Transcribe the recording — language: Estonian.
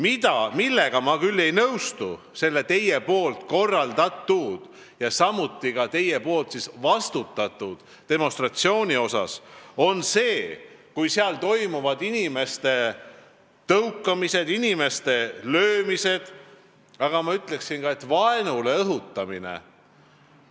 See, millega ma ei nõustu teie korraldatava ja ka teie vastutusel oleva demonstratsiooni puhul, on see, kui seal toimub inimeste tõukamine ja löömine, ma ütleksin, vaenule õhutamine.